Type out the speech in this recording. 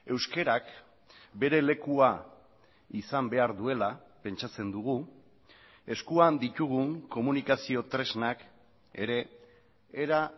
euskarak bere lekua izan behar duela pentsatzen dugu eskuan ditugun komunikazio tresnak ere era